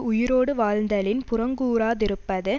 உயிரோடு வாழ்தலின் புறங்கூறாதிருப்பது